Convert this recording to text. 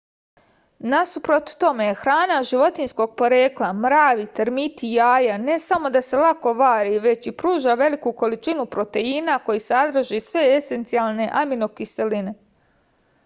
насупрот томе храна животињског порекла мрави термити јаја не само да се лако вари већ и пружа велику количину протеина који садрже све есенцијалне аминокиселине